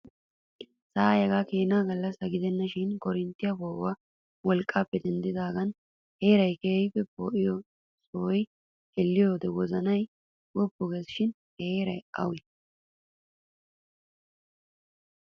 Sa'ay hegaa keni gallassa gidenna shin korinttiyaa po'uwaa wolqqaappe denddidaagan heeray keehippe poo'iyoo sohuwaa xeelliyoo wozanay woppu geesi shin ha heeray awee?